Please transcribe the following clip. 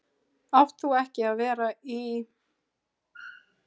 Átt þú ekki að vera í.-?